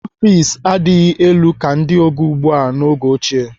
Ọfiks adịghị elu ka ndị oge ugbu a n'oge ochie.